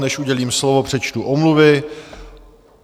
Než udělím slovo, přečtu omluvy.